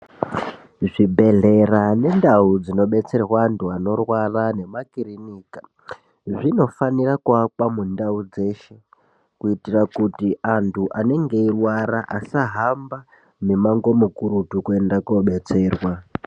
Zvibhehlera nendau dzinobetserwa antu anorwara nemakirinika zvinofanira kuwanikwa mundau dzeshe kuti kuti antu anenge eirwara asahamba mumango mukurutu kuenda kobetserwa.